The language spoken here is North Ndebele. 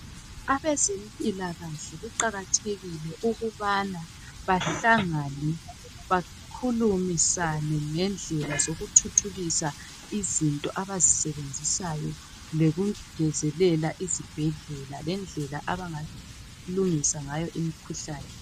abezempilakahle kuqakathekile ukubana bahlangane bakhulumisane ngendlela zokuthuthukisa izinto abazisebenzisayo lokungezelela izibhedlela abangalungisa ngayo imkhuhlane